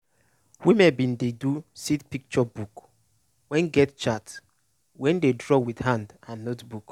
women bin do seed picture book wey get chart wey dey draw with hand and notebook.